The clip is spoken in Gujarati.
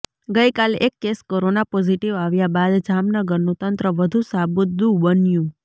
ગઈકાલે એક કેસ કોરોના પોઝીટીવ આવ્યા બાદ જામનગરનું તંત્ર વધુ સાબદુ બન્યું